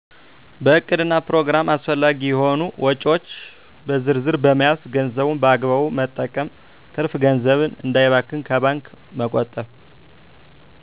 በዕቅድና ፕሮግራም አስፈላጊ የሆኑ ወጭዎች በዝርዝ በመያዝ ገንዘቡን በአግባቡ መጠቀም ትርፍ ገንዘብን እንዳይባክን ከባንክ መቆጠብ